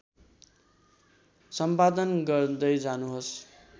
सम्पादन गर्दै जानुहोस्